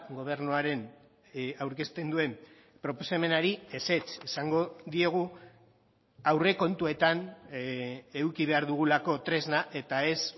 gobernuaren aurkezten duen proposamenari ezetz esango diegu aurrekontuetan eduki behar dugulako tresna eta ez